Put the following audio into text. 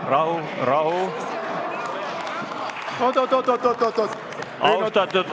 Rahu, rahu!